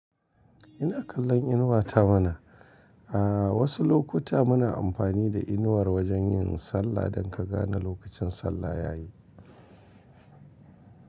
Ina kallon inuwa ta mana. A wasu lokuta muna ampani da inuwar wajen yin sallah don ka gane lokacin sallah yayi.